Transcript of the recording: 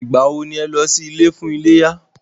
Ìgbà wọ ni o lọ sí ilé fún iléyá?